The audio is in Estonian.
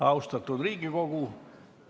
Austatud Riigikogu!